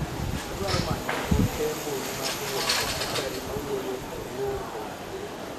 Adwaro manyo note mbui ma owuok kuom Bakari mawuoyo ewo romo.